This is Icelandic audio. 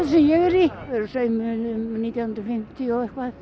sem ég er í þau eru saumuð nítján hundruð og fimmtíu og eitthvað